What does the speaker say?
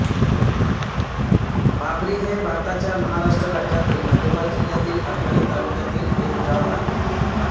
भाबरी हे भारताच्या महाराष्ट्र राज्यातील नंदुरबार जिल्ह्यातील अक्राणी तालुक्यातील एक गाव आहे